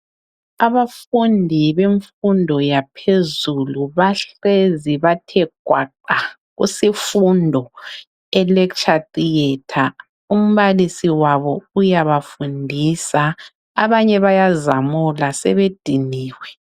Abafundi bemfundo yaphezulu bahlezi bathe gwaqa kusifundo e lecture theatre umbalisi wabo uyabafundisa abanye bayazamula sebediniwe